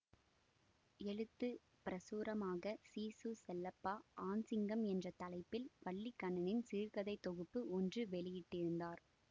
எழுத்து பிரசுரமாக சிசு செல்லப்பா ஆண் சிங்கம் என்ற தலைப்பில் வல்லிக்கண்ணனின் சிறுகதைத் தொகுப்பு ஒன்று வெளியிட்டிருந்தார்